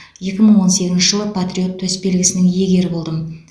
екі мың он сегізінші жылы патриот төсбелгісінің иегері болдым